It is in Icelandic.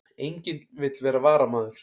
Enginn vill vera varamaður